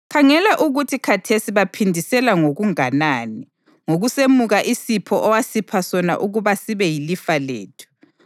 Khangela ukuthi khathesi baphindisela ngokunganani ngokusemuka isipho owasipha sona ukuba sibe yilifa lethu.